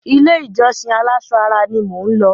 Ilé-ìjọsìn aláṣọ ara ni mò ń lọ.